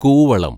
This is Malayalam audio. കൂവളം